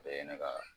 O ye ne ka